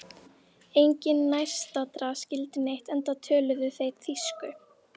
Enginn nærstaddra skildi neitt enda töluðu þeir þýsku.